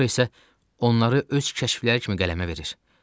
Sonra isə onları öz kəşfləri kimi qələmə verir.